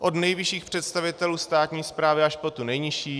Od nejvyšších představitelů státní správy až po tu nejnižší.